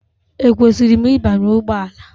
Ekwesịrị m ịbanye ụgbọ ala?